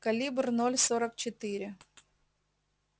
калибр ноль сорок четыре